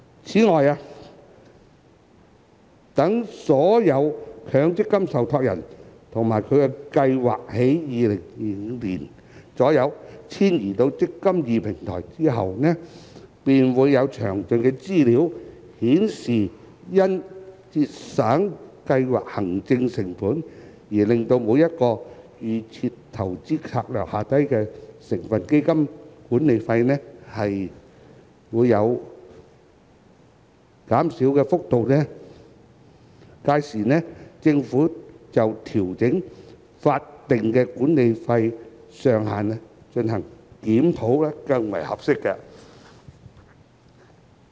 此外，待所有強積金受託人及其計劃於2025年左右遷移至"積金易"平台後，便會有詳盡的資料，顯示因節省計劃行政成本而令每個預設投資策略下的成分基金管理費減少的幅度，屆時政府就調整法定管理費上限進行檢討更為合適。